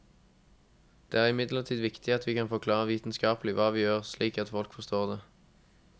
Det er imidlertid viktig at vi kan forklare vitenskapelig hva vi gjør, slik at folk forstår det.